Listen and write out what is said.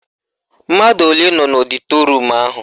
Mmadụ ole nọ n'ọdịtorum ahụ?